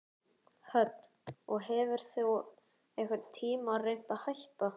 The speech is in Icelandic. Hödd: Og hefur þú einhvern tímann reynt að hætta?